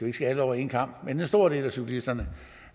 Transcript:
ikke skære alle over en kam men for en stor del af cyklisterne